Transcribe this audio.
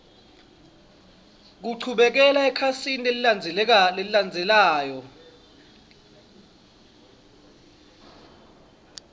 kuchubekela ekhasini lelilandzelako